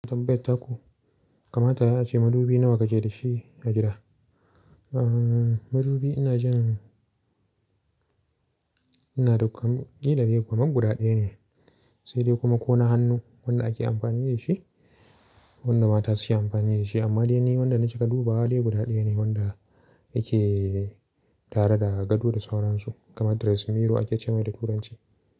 Tambayat ta ku kamata yayi ace madubi nawa kake da shi a gida. Ahhh, madubi ina jin ina kilade kaman guda daya ne, sai dai kuma ko na hannu wanda ake amfani da shi wanda mata suke amfani da shi. Amma dai ni wanda na cika dubawa guda ɗaya ne wanda yake tare da gado da sauransu kamar dressing mirro ake ce mai da turanci.